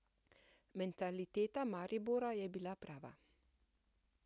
Mentaliteta Maribora je bila prava.